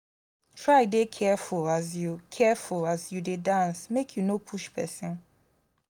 try de careful as you careful as you de dance make you no push persin